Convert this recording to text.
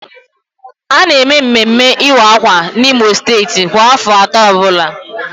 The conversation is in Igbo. A na eme mmemme ịwa akwa n'Imo steeti kwa afọ atọ ọbụla